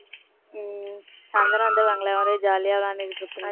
உம் சாய்ந்திரம் வந்துருவாங்கல்ல வந்தவுடனே jolly யா விளையாண்டுட்டு இருப்பீங்க